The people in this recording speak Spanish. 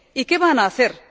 Y ¿qué van a hacer?